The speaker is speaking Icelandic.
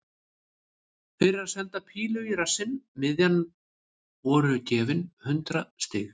Fyrir að senda pílu í rassinn miðjan voru gefin hundrað stig.